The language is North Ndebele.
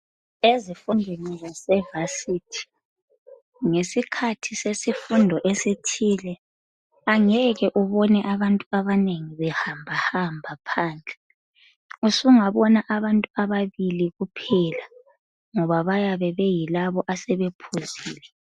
Ezifundweni zevasithi ngesikhathi se sifundo esithile angeke ubone abantu abanengi behamba hamba phandle, usunga bona abantu ababili kuphela ngoba bayabe be yilabo yibo asebe bephuzile.